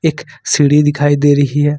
सीढ़ी दिखाई दे रही है।